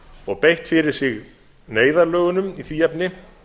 og beitt fyrir sig neyðarlögunum í því efni